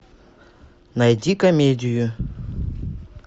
найди комедию